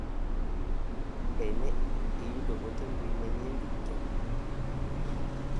Be ne iyudo ote mbui manyien duto?